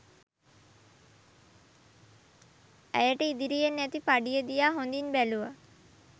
ඇයට ඉදිරියෙන් ඇති පඩිය දිහා හොඳින් බැලුව